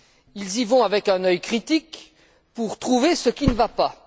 Ils y vont avec un œil critique pour trouver ce qui ne va pas.